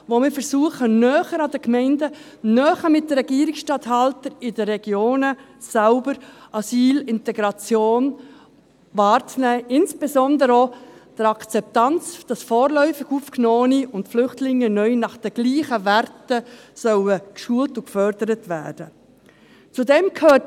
Damit versuchen wir, die Asylintegration näher an den Gemeinden wahrzunehmen, näher an den Regierungsstatthaltern in den Regionen selbst, und insbesondere auch die Akzeptanz dafür zu erreichen, dass vorläufig Aufgenommene und Flüchtlinge neu nach den gleichen Werten geschult und gefördert werden sollen.